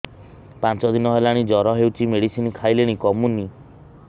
ପାଞ୍ଚ ଦିନ ହେଲାଣି ଜର ହଉଚି ମେଡିସିନ ଖାଇଲିଣି କମୁନି